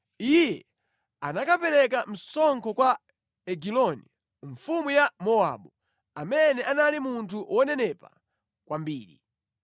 Iye anakapereka msonkho kwa Egiloni, mfumu ya Mowabu, amene anali munthu wonenepa kwambiri.